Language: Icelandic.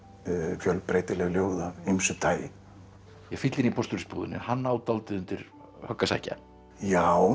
fjölbreytileg ljóð af ýmsu tagi fíllinn í hann á dálítið undir högg að sækja já